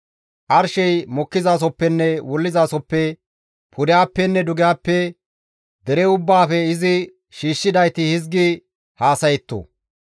arshey mokkizasoppenne wullizasoppe, pudehappenne dugehappe dere ubbaafe izi shiishshidayti hizgi haasayetto.